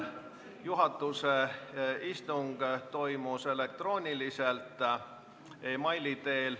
Juhatuse istung toimus elektrooniliselt e-maili teel.